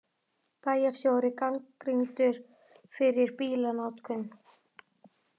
Bæjarstjóri gagnrýndur fyrir bílanotkun